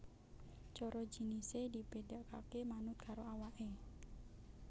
Coro jinisé dibedakaké manut karo awaké